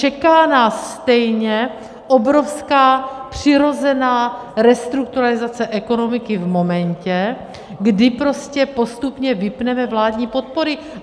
Čeká nás stejně obrovská přirozená restrukturalizace ekonomiky v momentě, kdy prostě postupně vypneme vládní podpory.